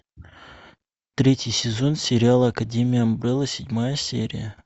третий сезон сериала академия амбрелла седьмая серия